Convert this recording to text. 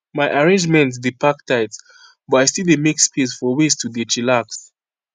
my arrangement dey pack tight but i still dey make space for ways to dey chillax